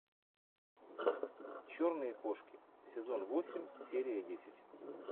черные кошки сезон восемь серия десять